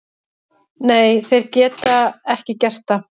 Nei, þeir geta ekki gert það.